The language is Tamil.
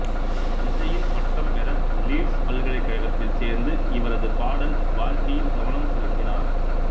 இசையில் பட்டம் பெற லீட்ஸ் பல்கலைக்கழகத்தில் சேர்ந்து இவரது பாடல் வாழ்க்கையில் கவனம் செலுத்தினார்